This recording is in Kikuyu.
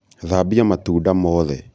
thambia matunda mothe